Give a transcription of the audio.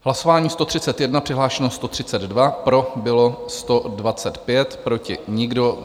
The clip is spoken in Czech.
Hlasování 131, přihlášeno 132, pro bylo 125, proti nikdo.